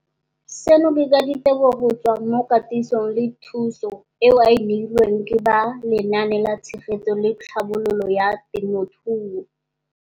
Seno ke ka ditebogo go tswa mo katisong le thu song eo a e neilweng ke ba Lenaane la Tshegetso le Tlhabololo ya.